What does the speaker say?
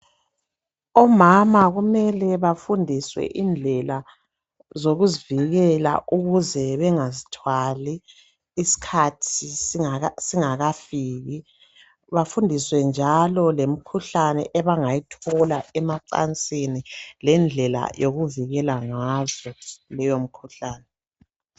Omama mele bafundiswe indlela zokuzivikela ukuze bengazithwala isikhathi singakafiki bafundiswe njalo imikhuhlane abasebengayithola njalo emacansini lendlela yokuvikela ngazo leyo mkhuhlane